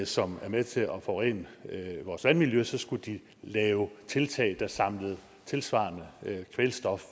som er med til at forurene vores vandmiljø så skulle de lave tiltag der samlede tilsvarende kvælstof